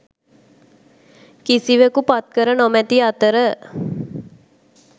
කිසිවකු පත්කර නොමැති අතර